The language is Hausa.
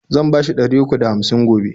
Zan bashi ɗari uku da hamsin gobe.